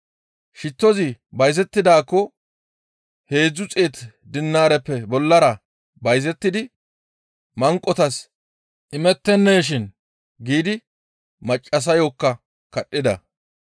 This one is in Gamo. «Shittozi bayzettidaakko heedzdzu xeetu dinaareppe bollara bayzettidi manqotas imettenneeshin!» giidi maccassayokka kadhida.